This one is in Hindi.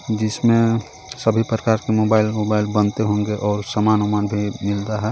जिसमें सभी प्रकार के मोबाइल वोबाइल बनते होंगे और सामान वमान भी मिलता है.